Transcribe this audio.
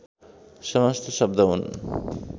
समस्त शब्द हुन्